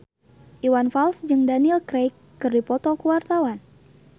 Iwan Fals jeung Daniel Craig keur dipoto ku wartawan